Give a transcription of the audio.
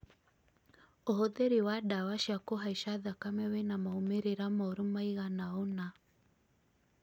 ũhũthĩri wa ndawa cia kũhaica thakame wĩna maumĩrĩra moru maigana ũna